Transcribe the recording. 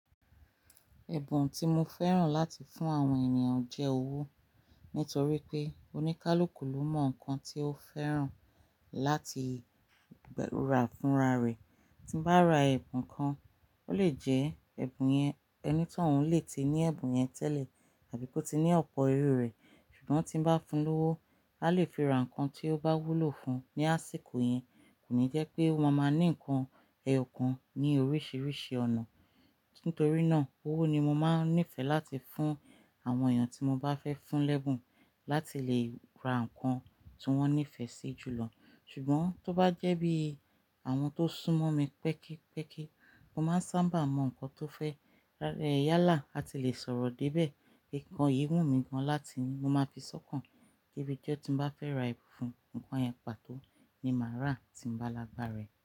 Ẹ̀bùn tí mo fẹ́ràn láti fún àwọn ènìyàn jẹ́ owó. Nítorí pé oníkálukú ló mọ nǹkan tí ó fẹ́ràn láti rà fúnra rẹ̀. Tí bá ra ẹ̀bùn kan, ó lè jẹ́ ẹni tòun lè tí ní ẹ̀bùn yẹn tẹ́lẹ̀ àbí kó tí ní ọ̀pọ̀ erurẹ̀. Ṣùgbọ́n tí bá fún lówó, a lè fi ra nǹkan tí ó bá wúlò fún un ní àsìkò yẹn. Kò ní jẹ́ pé o ma máa ní nǹkan ẹyọkan ní oríṣiríṣi ọ̀nà. Nítorí náà owó ni mo máa nífẹ̀ẹ́ láti fún àwọn ènìyàn tí mo bá fẹ́ fún lẹ́ẹ̀bùn láti lè ra nǹkan tí wọ́n nífẹ̀ẹ́ sí jù lọ. Ṣùgbọ́n tó bá jẹ́ bí àwọn tó súnmọ́ mi pẹ́kípẹ́kí, mo máa ń sábà mọ nǹkan tó fẹ́, yálà a ti le sọ̀rọ̀ débẹ̀. Ìkànnì yìí wù mí gan láti mo máa fi sọ́kàn kí ibijọ tí bá fẹ́ ra ẹ̀bùn fún un, nǹkan àyẹ̀pẹ̀ pàtọ́ ni màá rà tí mo bá lágbà rẹ̀.